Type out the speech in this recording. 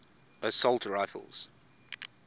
assault rifles